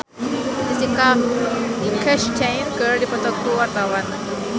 Iyeth Bustami jeung Jessica Chastain keur dipoto ku wartawan